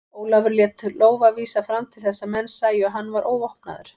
Ólafur lét lófa vísa fram til þess að menn sæju að hann var óvopnaður.